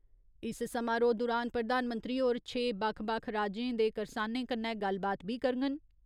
इस समारोह दुरान प्रधानमंत्री होर छे बक्ख बक्ख राज्यें दे करसानें कन्नै गल्लबात बी करङन।